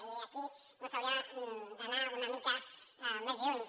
i aquí s’hauria d’anar una mica més lluny